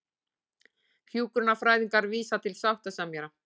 Hjúkrunarfræðingar vísa til sáttasemjara